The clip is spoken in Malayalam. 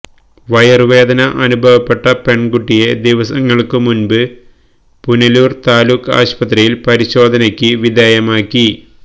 വയറുവേദന അനുഭവപ്പെട്ട പെണ്കുട്ടിയെ ദിവസങ്ങള്ക്ക് മുൻപ് പുനലൂര് താലൂക്ക് ആശുപത്രിയില് പരിശോധനയ്ക്ക് വിധേയമാക്കി